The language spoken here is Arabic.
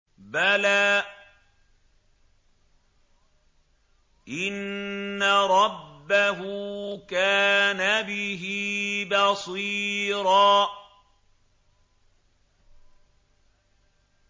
بَلَىٰ إِنَّ رَبَّهُ كَانَ بِهِ بَصِيرًا